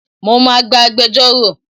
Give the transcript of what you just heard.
Mo máa gba agbejórò.